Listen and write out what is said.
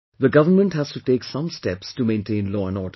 The government has to take some steps to maintain law and order